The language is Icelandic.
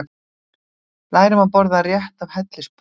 Lærum að borða rétt af hellisbúum